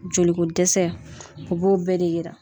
Jolikodɛsɛ o b'o bɛɛ de yira.